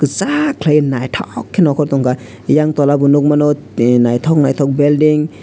kisak kelai naitok ke no nokortong kha eyang toula bo nog mano tei naitok naitok belding.